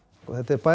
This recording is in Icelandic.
þetta er